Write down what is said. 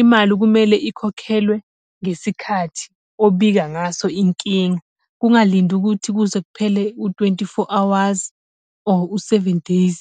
Imali kumele ikhokhelwe ngesikhathi obika ngaso inkinga. Kungalindwa ukuthi kuze kuphele u-twenty-four hours or u-seven days.